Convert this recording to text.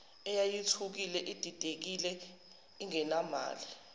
eyayithukile ididekile ingenamali